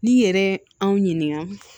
N'i yɛrɛ anw ɲininka